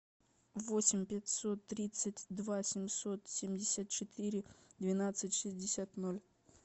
восемь пятьсот тридцать два семьсот семьдесят четыре двенадцать шестьдесят ноль